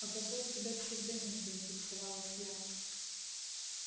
а какой у тебя псевдоним заинтересовалась я